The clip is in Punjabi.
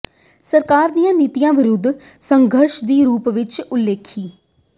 ਸਰਕਾਰ ਦੀਆਂ ਨੀਤੀਆਂ ਵਿਰੁੱਧ ਸੰਘਰਸ਼ ਦੀ ਰੂਪ ਰੇਖਾ ਉਲੀਕੀ